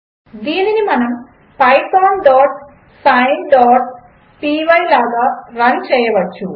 దీనిని మనము pythonsineపై లాగా రన్ చేయవచ్చు